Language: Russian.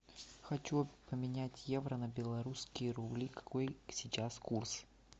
хочу поменять евро на белорусские рубли какой сейчас курс